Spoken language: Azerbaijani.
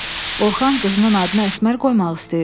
Orxan qızının adını Əsmər qoymaq istəyir.